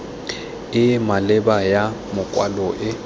e maleba ya makwalo e